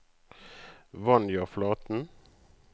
Vanja Flaten